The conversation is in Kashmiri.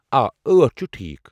آ، ٲٹھ چھُ ٹھیٖک۔